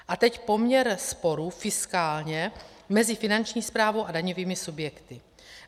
A teď poměr sporů fiskálně mezi Finanční správou a daňovými subjekty.